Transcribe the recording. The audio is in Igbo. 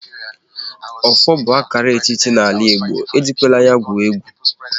Ọfọ bụ akara ọchịchị n'ala Igbo, e jikwala ya gwuo egwu!